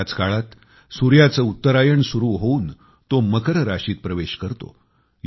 याच काळात सूर्याचे उत्तरायण होऊन तो मकर राशीत प्रवेश करतो